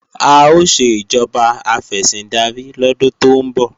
A ó ṣe ìjọba afẹ̀sìndarí lọ́dún tó ń bọ̀